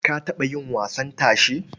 Ka taɓa yin wasan tashe?